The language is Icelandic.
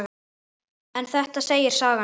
En þetta segir sagan.